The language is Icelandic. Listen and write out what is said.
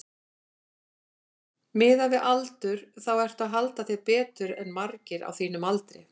Miðað við aldur þá ertu að halda þér betur en margir á þínum aldri?